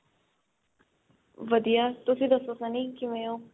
ਵਧੀਆ, ਤੁਸੀਂ ਦੱਸੋ Sunny ਕਿਵੇਂ ਹੋ?